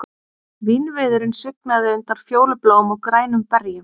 Vínviðurinn svignaði undan fjólubláum og grænum berjum